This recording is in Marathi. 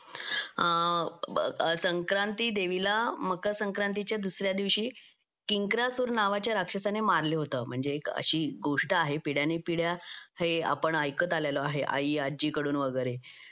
संक्रांति देवीला मकर संक्रांतीच्या दुसऱ्या दिवशी किंक्रासुर नावाच्या राक्षसाने मारलं होतं म्हणजे अशी एक गोष्ट आहे पिढी आणि पिढ्या हे आपण ऐकत आलेलो आहे आई आजी कडून वगैरें